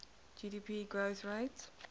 gdp growth rate